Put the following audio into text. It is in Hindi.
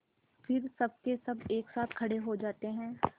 फिर सबकेसब एक साथ खड़े हो जाते हैं